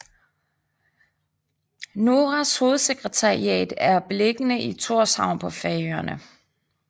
NORAs hovedsekretariat er beliggende i Tórshavn på Færøerne